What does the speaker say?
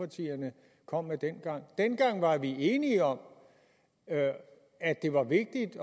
kom med dengang dengang var vi enige om at det var vigtigt